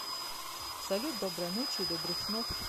салют доброй ночи и добрых снов